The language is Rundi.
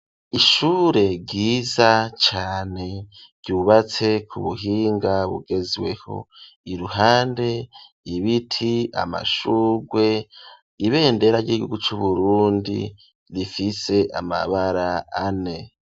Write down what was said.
Ishure ryiza cane ryubatse ku buhinga bugezweho, iruhande ibiti ,amashugwe, ibendera ry'ihugu c'Uburundi rifise amabara ane.